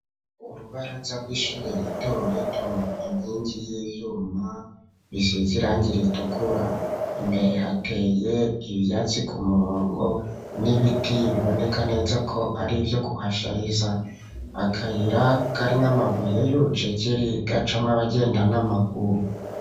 Urubaraza rw'ishure rito rito inkingi y'ivyuma bisize irangi ritukura imbere hateye ibyatsi ku murongo n'ibiti biboneka neza ko ari byo kuhashariza akayira karn amabuye y'urucekeri gacamw'abagenda n'amaguru.